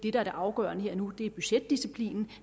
er det afgørende her og nu er budgetdisciplinen